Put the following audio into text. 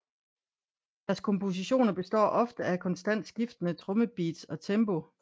Deres kompositioner består ofte af konstant skiftende trommebeats og tempo